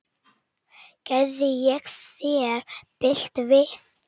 Gerði ég þér bylt við?